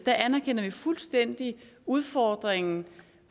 anerkender vi fuldstændig udfordringen